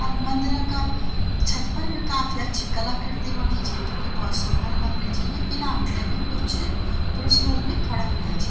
अर मंदिरा का छत फर बि काफी अच्छी कलाकृति बणी छिन जु कि भौत सुंदर लगणी छिन इना बिटै बि कुछ पुरुष लोग बि खडा हुंया छी।